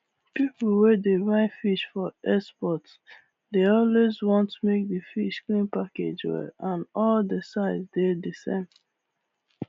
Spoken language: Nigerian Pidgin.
people wey dey buy fish for export dey always want make di fish clean package well and all di size dey the same